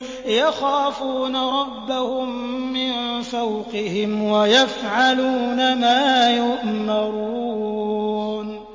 يَخَافُونَ رَبَّهُم مِّن فَوْقِهِمْ وَيَفْعَلُونَ مَا يُؤْمَرُونَ ۩